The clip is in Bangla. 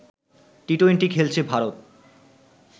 টি-টোয়েন্টি খেলেছে ভারত